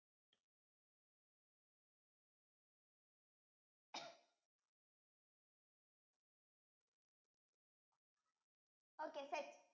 okay set